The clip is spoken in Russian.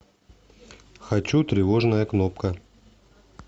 хочу тревожная кнопка